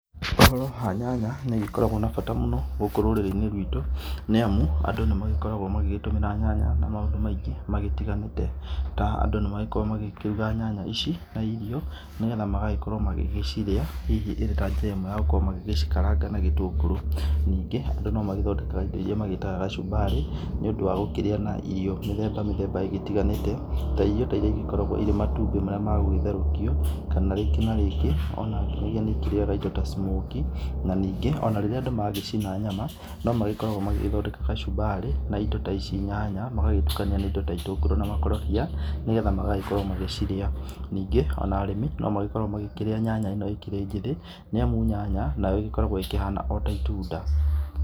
Ũhoro wa nyanya nĩ ũgĩkoragũo na bata mũno gũkũ rũrĩrĩ-inĩ rwitũ. Nĩamu andũ nĩ magĩkoragũo magĩtũmĩra nyanya na maũndũ maingĩ magĩtiganĩte ta, andũ nĩ magĩkoragũo makĩruga nyanya ici na rio nĩgetha magagĩkorũo magĩcirĩa hihi ĩta njĩra ĩmwe ya gũgĩkorũo magĩkaranga na gĩtũngũrũ. Ningĩ andũ nĩ magĩkoragũo magĩthondeka indo iria magĩtaga gacumbarĩ nĩũndũ wa gũkĩrĩa na irio mĩthemba mĩthemba ĩgĩtiganĩte na irio ta, iria igĩkoragũo irĩ ta matumbĩ magũgĩtherũkio, kana rĩngĩ na rĩngĩ o na nĩ ikĩrĩaga indo ta, smokie na ningĩ o na rĩrĩa andũ magĩcina nyama no magĩkoragũo magĩthondeka gacumbari na indo ta ici nyanya magagĩtukania na indo ta, itũngũrũ na makorobia nĩgetha magakorũo magĩcirĩa. Ningĩ o na arĩmi no magĩkoragũo makĩrĩa nyanya ĩno ĩkĩrĩ njĩthĩ nĩamu ĩgĩkoragũo ĩkĩhana o ta itunda.